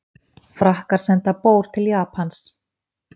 Frakkar senda bór til Japans